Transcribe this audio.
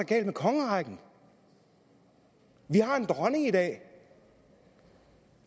galt med kongerækken vi har en dronning i dag